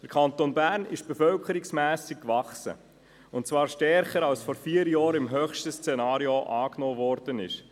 Der Kanton Bern ist im Hinblick auf die Bevölkerungszahl gewachsen, und zwar stärker als das vor vier Jahren als höchstes Szenario angenommen worden ist.